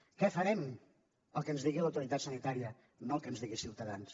què farem el que ens digui l’autoritat sanitària no el que ens digui ciutadans